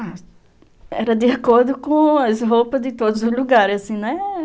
Ah, era de acordo com as roupas de todos os lugares, assim, né?